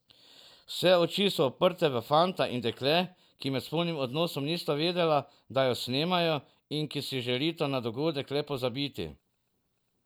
Vse oči so spet uprte v fanta in dekle, ki med spolnim odnosom nista vedela, da ju snemajo, in ki si želita na dogodek le pozabiti.